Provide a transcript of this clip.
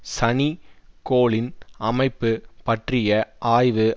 சனி கோளின் அமைப்பு பற்றிய ஆய்வு